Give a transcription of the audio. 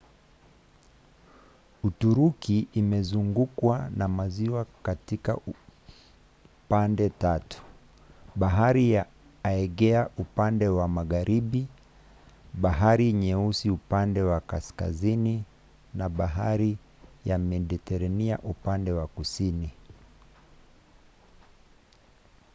uturuki imezungukwa na maziwa katika pande tatu: bahari ya aegea upande wa magharibi bahari nyeusi upande wa kaskazini na bahari ya mediterania upande wa kusini